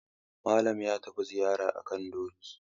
Malam ya tafi Zariya a kan doki.